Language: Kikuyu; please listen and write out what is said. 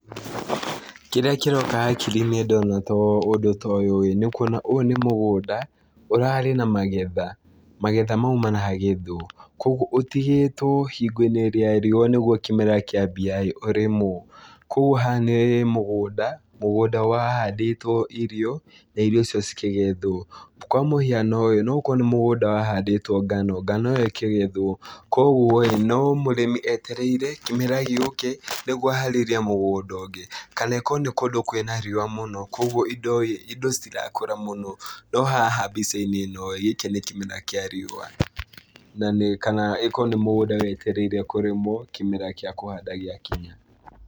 Kĩrĩa kĩroka hakiri-inĩ ndona ũndũ ta ũũ ĩ nĩ kuona ũyũ nĩ mũgũnda ũrarĩ na magetha , magetha mau maragethwo , kũgwo ũtigĩtwo hingo-inĩ ya riũa nĩgwo kĩmera kĩambia ĩ ũrĩmwo, kũgwo haha nĩ mũgũnda, mũgũnda ũrahandĩtwo irio, na irio icio cikĩgethwo, kwa mũhiano ĩ no ũkorwo nĩ mũgũnda wahandĩtwo ngano, ngano ĩyo ĩkĩgethwo, kũgwo ĩ , no mũrĩmi etereire kĩmera gĩũke, nĩgwo aharĩrie mũgũnda ũngĩ , kana ĩkorwo nĩ kũndũ kwĩna riũa mũno , kũgwo indo ,indo citirakũra mũno, no haha mbica-inĩ ĩno ĩ , gĩkĩ nĩ kĩmera kĩa riũa ,na kana ĩkorwo nĩ mũgũnda wetereire kũrĩmwo kĩmera gĩa kũhanda gĩa kinya.